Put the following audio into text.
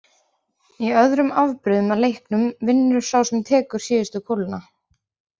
Í öðrum afbrigðum af leiknum vinnur sá sem tekur síðustu kúluna.